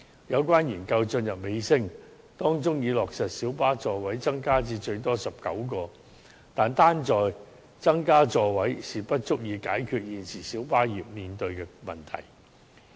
有關研究已進入尾聲，並已落實小巴座位增加至最多19個的建議，但增加座位並不足以解決現時小巴業面對的問題。